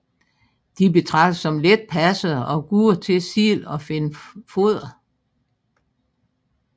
De betragtes som letpassede og gode til selv at finde foder